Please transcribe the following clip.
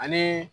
Ani